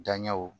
Danɲɛw